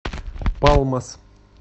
палмас